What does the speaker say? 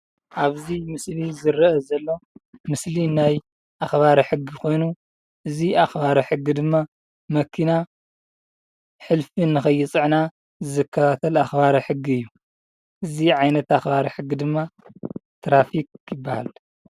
ኣብዚ ምስሊ ዝርኣ ዘሎ ምስሊ ናይ ኣክባሪ ሕጊ ኮይኑ እዚ ኣክባሪ ሕጊ ድማ መኪና ሕልፊ ንከይፅዕና ዝከታተል ኣክባሪ ሕጊ እዩ። እዚ ዓይነት ኣክባሪ ሕጊ ድማ ትራፊክ ይበሃሉ።